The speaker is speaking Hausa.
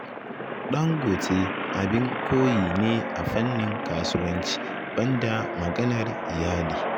Ɗangote abin koyi ne a fannin kasuwanci, banda maganar iyali